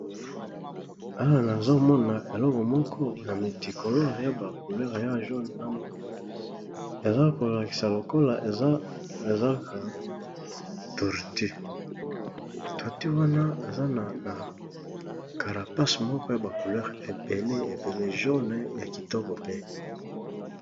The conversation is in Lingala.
Awa azomona eloko moko ya mitikoler ya ba couleur ya joune nama eza kolakisa lokola ezaka torti. torti wana eza na karapac moko ya ba couleur ebele ebele jone ya kitoko pe.